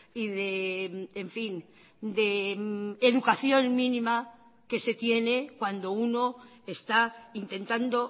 y de en fin de educación mínima que se tiene cuando uno está intentando